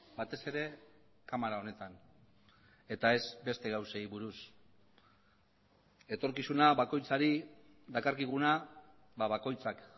batez ere kamara honetan eta ez beste gauzei buruz etorkizuna bakoitzari dakarkiguna bakoitzak